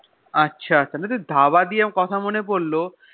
আছে তাহলে তো ধাবা দিয়ে কথা মনে পড়লো